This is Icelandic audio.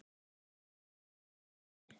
Hann varð að treysta textanum í blindni.